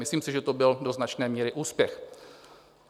Myslím si, že to byl do značné míry úspěch.